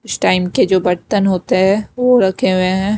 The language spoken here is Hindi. कुछ टाइम के जो बर्तन होते हैं वो रखे हुए हैं।